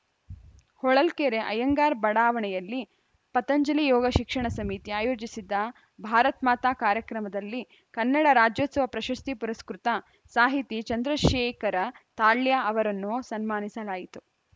ಹೊಳಲ್ಕೆರೆ ಅಯ್ಯಂಗಾರ ಬಡಾವಣೆಯಲ್ಲಿ ಪತಂಜಲಿ ಯೋಗ ಶಿಕ್ಷಣ ಸಮಿತಿ ಅಯೋಜಿಸಿದ್ದ ಭಾರತ್‌ ಮಾತಾ ಕಾರ್ಯಕ್ರಮದಲ್ಲಿ ಕನ್ನಡ ರಾಜೋತ್ಸವ ಪ್ರಶಸ್ತಿ ಪುರಸ್ಕೃತ ಸಾಹಿತಿ ಚಂದ್ರಶೇಖರ ತಾಳ್ಯ ಅವರನ್ನು ಸನ್ಮಾನಿಸಲಾಯಿತು